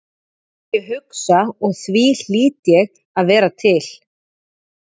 Ég hugsa og því hlýt ég að vera til.